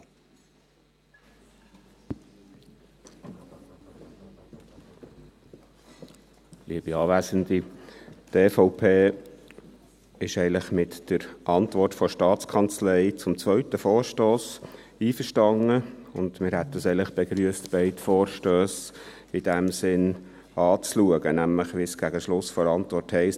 Die EVP ist eigentlich mit der Antwort der Staatskanzlei zum zweiten Vorstoss einverstanden, und eigentlich hätten wir es begrüsst, wenn beide Vorstösse in diesem Sinn angeschaut würden, nämlich so, wie es gegen Schluss der Antwort heisst: